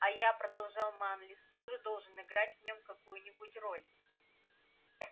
а я продолжал манлис тоже должен играть в нём какую-нибудь роль